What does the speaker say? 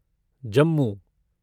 Jammu